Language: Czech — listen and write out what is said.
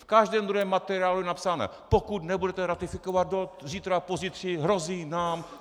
V každém druhém materiálu je napsáno - pokud nebudete ratifikovat do zítra, pozítří... hrozí nám...